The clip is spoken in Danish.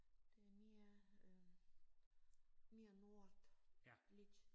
Det er mere mere nordligt